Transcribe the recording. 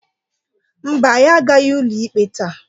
Mba, anyị agaghị ụlọ ikpe taa.